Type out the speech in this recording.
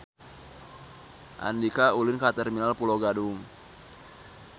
Andika ulin ka Terminal Pulo Gadung